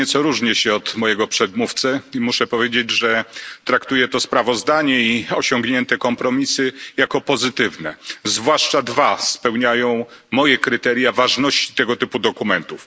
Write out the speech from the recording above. Nieco różnię się od mojego przedmówcy i muszę powiedzieć, że traktuję to sprawozdanie i osiągnięte kompromisy jako pozytywne. Zwłaszcza dwa spełniają moje kryteria ważności tego typu dokumentów.